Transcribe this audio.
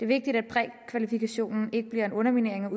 vigtigt at prækvalifikationen ikke bliver en underminering af